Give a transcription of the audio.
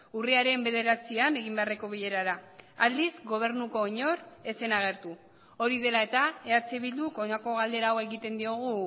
urriaren bederatzian egin beharreko bilerara aldiz gobernuko inor ez zen agertu hori dela eta eh bilduk honako galdera hau egiten diogu